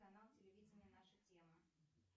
канал телевидения наша тема